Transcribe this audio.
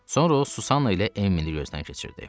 Sonra o Susanna ilə Emmini gözdən keçirdi.